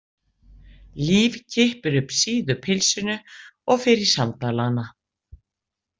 Líf kippir upp síðu pilsinu og fer í sandalana.